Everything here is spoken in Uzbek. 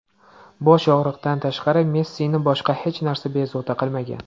Bosh og‘riqdan tashqari Messini boshqa hech narsa bezovta qilmagan.